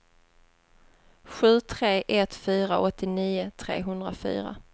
sju tre ett fyra åttionio trehundrafyra